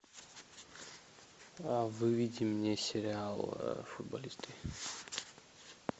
выведи мне сериал футболисты